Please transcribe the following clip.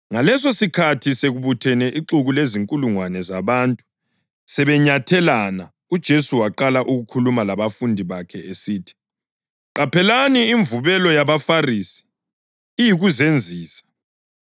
Ngalesosikhathi sekubuthene ixuku lezinkulungwane zabantu, sebenyathelana, uJesu waqala ukukhuluma kubafundi bakhe esithi, “Qaphelani imvubelo yabaFarisi, iyikuzenzisa.